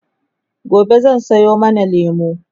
gobe zan Sayo mana lemu